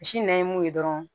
Misi nɛn ye mun ye dɔrɔn